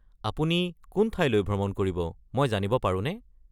আপুনি কোন ঠাইলৈ ভ্ৰমণ কৰিব মই জানিব পাৰোনে?